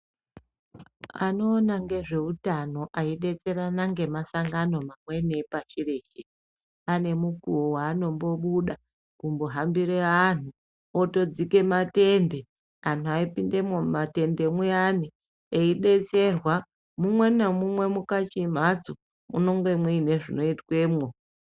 Anoona ngezveutano eidetserana ngemasangano amweni epashi reshe ane mukuwo waanombobuda kuhambire anhu oto dzike matende anhu eipindemwo mumatende muyani eidetserwa mumwe namumwe mukachimhatso munenge muine zvinoitwemwo.